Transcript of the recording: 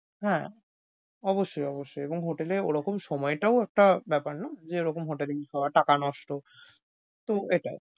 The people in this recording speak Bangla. হ্যাঁ, অবশ্যই অবশ্যই এবং এ hotel এ ওরকম সময়টাও একটা ব্যাপার না যেরকম টাকা নষ্ট, তো এটাই।